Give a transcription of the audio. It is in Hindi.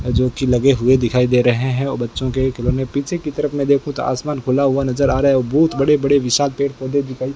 जोकि लगे हुए दिखाई दे रहे है और बच्चों के खिलौने पीछे की तरफ मे देखूं तो आसमान खुला हुआ नज़र आ रहा है और बहोत बड़े बड़े विशाल पेड़ पौधे दिखाई --